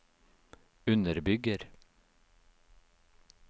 underbygger